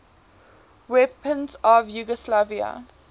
weapons of yugoslavia